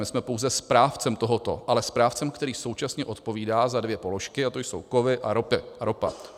My jsme pouze správcem tohoto, ale správcem, který současně odpovídá za dvě položky, a to jsou kovy a ropa.